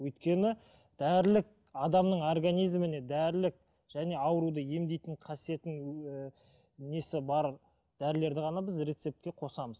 өйткені дәрілік адамның организміне дәрілік және ауруды емдейтін қасиетін ііі несі бар дәрілерді ғана біз рецептке қосамыз